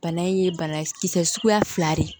Bana in ye bana kisɛ suguya fila de ye